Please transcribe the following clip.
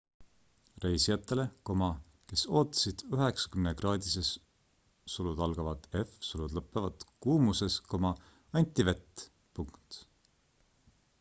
reisijatele kes ootasid 90-kraadises f kuumuses anti vett